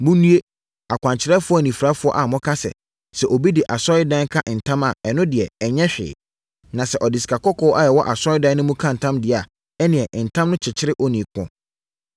“Monnue! Akwankyerɛfoɔ anifirafoɔ a moka sɛ, sɛ obi de asɔredan ka ntam a, ɛno deɛ, ɛnyɛ hwee. Na sɛ ɔde sikakɔkɔɔ a ɛwɔ asɔredan no mu ka ntam deɛ a, ɛnneɛ, ntam no kyekyere onii no.